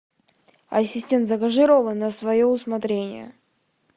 ассистент закажи роллы на свое усмотрение